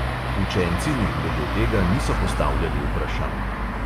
Učenci mi glede tega niso postavljali vprašanj.